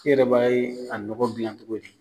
E yɛrɛ b'a ye a nɔgɔ bi yan togo di